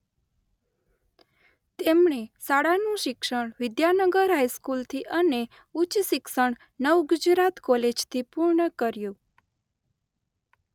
તેમણે શાળાનું શિક્ષણ વિદ્યાનગર હાઇસ્કૂલથી અને ઉચ્ચ શિક્ષણ નવગુજરાત કોલેજથી પૂર્ણ કર્યું.